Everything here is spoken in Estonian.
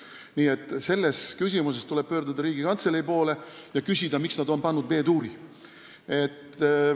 Nii et selles küsimuses tuleb pöörduda Riigikantselei poole ja küsida, miks nad on sinna pannud B-duuri.